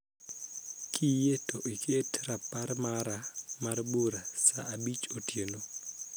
Kiyie to iket rapar mara mar bura saa abich otieno